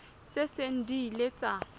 tse seng di ile tsa